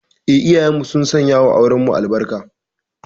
Eh, iyayenmu sun sanyawa aurenmu albarka.